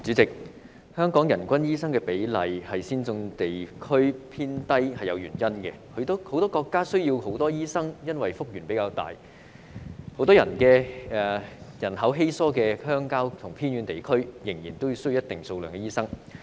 代理主席，香港人均醫生比例在先進地區之中偏低是有原因的，許多國家需要較多醫生，是因為幅員廣闊，很多人口稀疏的鄉郊和偏遠地區，仍然需要一定數量的醫生。